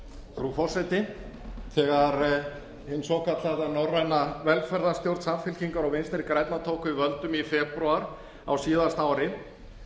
frú forseti þegar hin svokallaða norræna velferðarstjórn samfylkingar og vinstri grænna tók við völdum í febrúar á síðasta ári